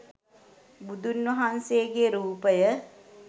බුදුන් වහන්සේගේ රූපය